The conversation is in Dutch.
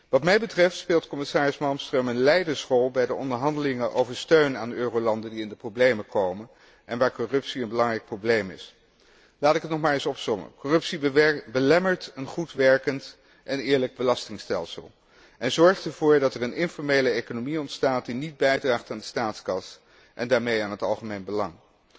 Wat mij betreft speelt commissaris Malmström een leidersrol bij de onderhandelingen over steun aan eurolanden die in de problemen komen, en waar corruptie een belangrijk probleem is. Laat ik het nog maar eens opsommen corruptie belemmert een goed werkend en eerlijk belastingstelsel en zorgt ervoor dat er een informele economie ontstaat, die niet bijdraagt aan de staatskas en daarmee aan het algemeen belang.